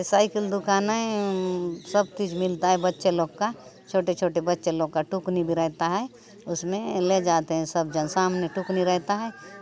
साईकल दुकान आय सब चीज़ मिलता है बच्चें लोग का छोटे-छोटे बच्चें लोग का टुकनी भी रहता है उसमे ले जाते है सब जन सामने टोकनी रहता है।